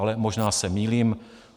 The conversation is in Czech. Ale možná se mýlím.